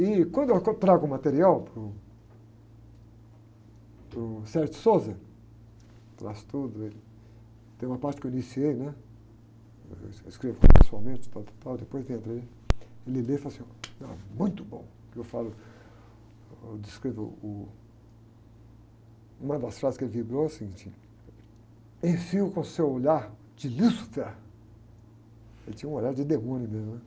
E quando eu, trago o material para o, para o, traz tudo, ele, tem uma parte que eu iniciei, né? Que eu escrevo pessoalmente, tal, tal, tal, depois entra ele, ele lê e fala assim, está muito bom, que eu falo, eu descrevo uh, uma das frases que ele vibrou assim, tinha, com seu olhar de lúcifer, ele tinha um olhar de demônio mesmo, né?